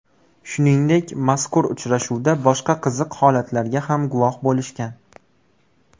Shuningdek, mazkur uchrashuvda boshqa qiziq holatlarga ham guvoh bo‘lishgan.